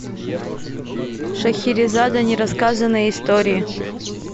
шахерезада нерассказанные истории